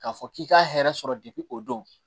K'a fɔ k'i ka hɛrɛ sɔrɔ de o don